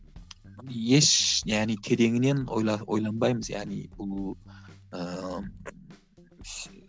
еш яғни тереңінен ойланбаймыз яғни